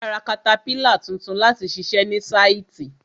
A ra katapílà tuntun láti ṣiṣẹ ní sáìtì.